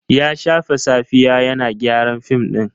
Ya shafe safiya yana gyara fim ɗin.